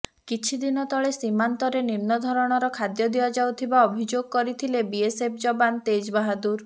କିଛି ଦିନ ତଳେ ସୀମାନ୍ତରେ ନିମ୍ନଧରଣର ଖାଦ୍ୟ ଦିଆଯାଉଥିବା ଅଭିଯୋଗ କରିଥିଲେ ବିଏସଏଫ୍ ଯବାନ ତେଜ୍ ବାହାଦୁର